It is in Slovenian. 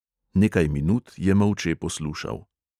Nekaj minut je molče poslušal.